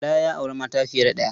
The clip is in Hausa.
Bala ya auri mata fiye da ɗaya.